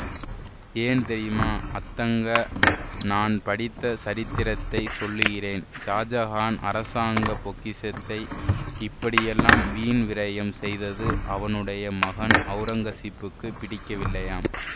ஏன் தெரியுமா அத்தங்கா நான் படித்த சரித்திரத்தைச் சொல்லுகிறேன் ஷாஜஹான் அரசாங்க பொக்கிஷத்தை இப்படியெல்லாம் வீண் விரயம் செய்தது அவனுடைய மகன் ஔரங்கசீப்புக்குப் பிடிக்கவில்லையாம்